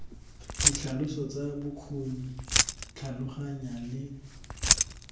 ditlhaloso tsa bokgoni tlhaloganya le